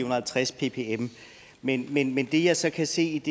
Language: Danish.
og halvtreds ppm men det jeg så kan se